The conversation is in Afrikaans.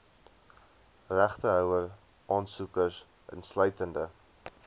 regtehouer aansoekers insluitende